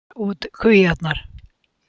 Stork færir út kvíarnar